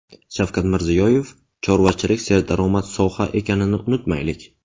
Shavkat Mirziyoyev: chorvachilik serdaromad soha ekanini unutmaylik.